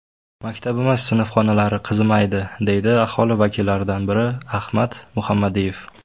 Maktabimiz sinfxonalari qizimaydi, deydi aholi vakillaridan biri Ahmad Muhammadiyev.